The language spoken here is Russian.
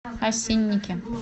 осинники